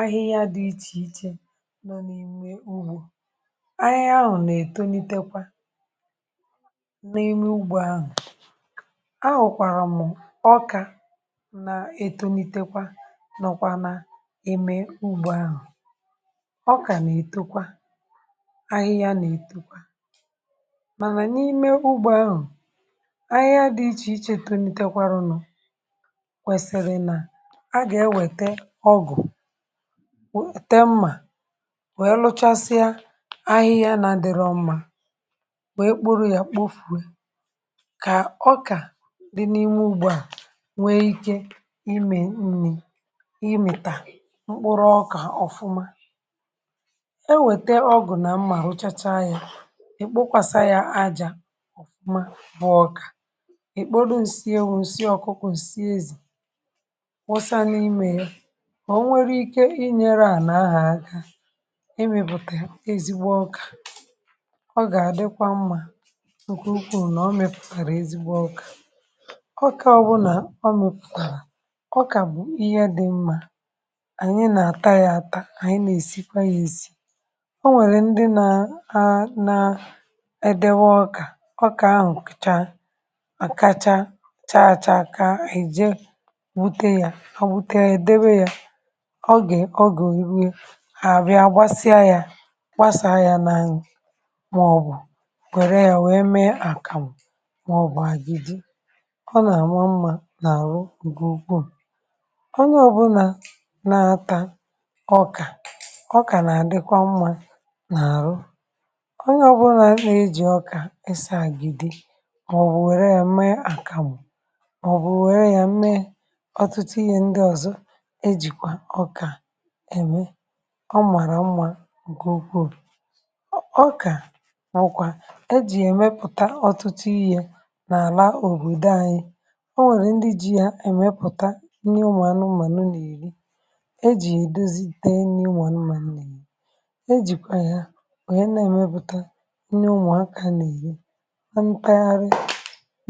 Ahịhịa dị iche iche nọ n’ímè ugbò. Ahịhịa ahụ̀ na-eto, nà-etekwa n’ímè ugbò ahụ̀. Ahụ̀kwàrà m̀, ọkà nà-eto n’ítekwa, nọkwanụ n’ímè ugbò ahụ̀.... Ọkà nà-etekwa, ahịhịa nà-etokwa. Mànà n’ímè ugbò ahụ̀, ahịhịa dị iche iche... tenitekwarụ nọ̀. Kwèsìrì ka a gà-ewète ọgụ̀, nwèe lụchasịa ahịhịa. N’adịghị mma, wee kporo ya,(um) kpofùe, kà ọkà dị n’ímè ugbò à nwee ike imè nni̇, imìtà mkpụrụ ọkà ọ̀fụma. E nwète ọgụ̀ nà mma, rụchachaa ya, i kpokwasa ya ajà ọ̀fụma, bụọ ọkà. Ị kpọdụ nsị ewu̇, nsị ọkụkụ̇, nsị ezì, i mepùtàrà ezigbo ọkà. Ọ gà-ádịkwa mma nke ukwuu nà ọ mẹpùtàrà ezigbo ọkà. Ọkà, ọ bụnà ọ mẹpùtàrà, ọkà bụ ihe dị mma. um Ànyị nà-átà ya àtà, ànyị nà-èsikwa ya èsi. Ọ um nwèrè ndị nà-àdèwọ ọkà. Ọkà ahụ̀, kùchaa, mà kacha chààchà, akà ànyị je wute ya, à wute ya, déwe ya, gbasaa ya, nà inyè masi ànyị. Ọrịọ̇ onye ya wee mee àkàmụ̀, mọọbụ̀ àgide. Ọ nà-àrụ mma n’ọrụ. Ugwuù onye ọbụlà na-átà ọkà. Ọkà nà-ádikwa mma n’ọrụ. Onye... ọbụlà nà-èjì ọkà ísà àgidi, màọ̀bụ̀ wèe ya mee àkàmụ̀, màọ̀bụ̀ wèe ya mee ọtụtụ ihe ndị ọzọ. Èmè ọ, màrà ụmà, gùukwuù ọ. Ọkà nwụkwa e jì mẹpùtà ọtụtụ iyi yé n’àla obodo ànyị... Ọ nwèrè ndị ji yé mẹpùtà nri ụmụ̀ anụmà, n’erì, e jì èdozi tee nri ụmụ̀ anụmà n’érì ya. E jìkwa ya, onye na-emepùtà nri ụmụ̀akà, n’énye mpegharị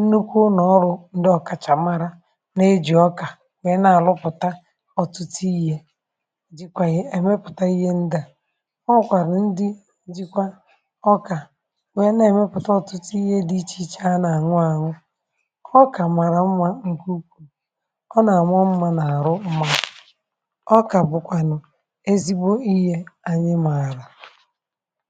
nnukwu nà ọrụ. Ndị um ọ̀kàchàmàra na-ejì ọkà. Onye na-àlụpụ̀ta um ọtụtụ iyi̇, dịkwa yà, mẹpùtà ihe ndị a. Ọ kwàrà, ndị dịkwa ọkà, wee na-emepùtà ọ̀tụtụ ihe dị ịchà ịchà. A na-anwụ, à nụ ọkà. Ọkà um màrà mma nke ukwuu. Ọ nà-àmụ ọmà, nà-àrụ mma...Ọkà bụ̀kwànụ̀ ezigbo ihe ànyị mààrà.